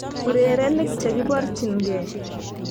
urerenik chekiborchinge